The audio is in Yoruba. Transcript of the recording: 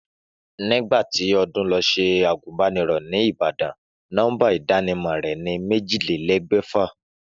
Nígbà tí Odún lo se àgbùnbánirò ní Ìbàdàn, nómbà ìdánimò rè ni méjílélégbèfà